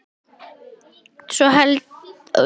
Ég held að svo sé.